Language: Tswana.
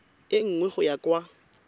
e nngwe go ya kwa